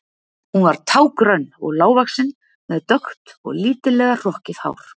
Hún var tággrönn og lágvaxin með dökkt og lítillega hrokkið hár.